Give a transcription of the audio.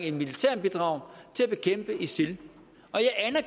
et militært bidrag til at bekæmpe isil